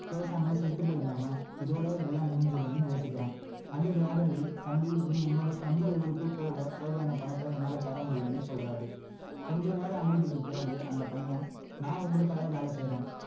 பேசாம செத்து போயிடலாமா இதோட எல்லாம் முடிஞ்சிடும்னு யோசிக்கிறான் அந்த வியாபாரி தம்பி நீ உன்னோட சொந்த ஊருக்கு போக தேவையான பணத்தை என்னால தர முடியும்னு சொல்றாரு கொஞ்சம் நேர அமைதிக்கு பிறகு அந்த பையன் நான் உங்களுக்காக வேலை செய்யுறேன்